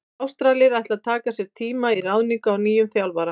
Ástralir ætla að taka sér tíma í ráðningu á nýjum þjálfara.